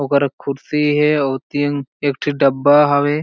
ओकर एक कुर्सी हे अउ ओती अंग एक ठी डब्बा हवे।